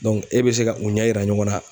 Dɔnc e be se ka u ɲɛ yira ɲɔgɔn na